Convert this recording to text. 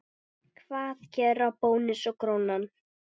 Hvað gera Bónus og Krónan?